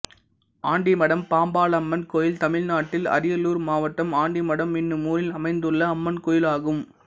ஆண்டிமடம் பாம்பாளம்மன் கோயில் தமிழ்நாட்டில் அரியலூர் மாவட்டம் ஆண்டிமடம் என்னும் ஊரில் அமைந்துள்ள அம்மன் கோயிலாகும்